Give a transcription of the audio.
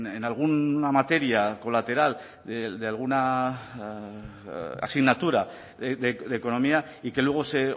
en alguna materia colateral de alguna asignatura de economía y que luego se